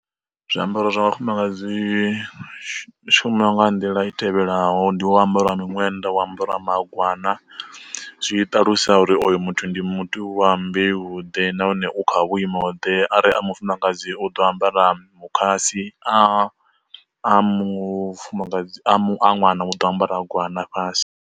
Zwi ambaro zwa vha fumakadzi shuma nga nḓila i tevhelaho, ndi wo ambara miṅwenda wo ambara magwana, zwi ṱalusa uri oyo muthu ndi muthu wa mbeu vhuḓe nahone u kha vhuimo ḓe ari a mufumakadzi u ḓo ambara mukhasi a a mufumakadzi a ṅwana u ḓo ambara gwana fhasi.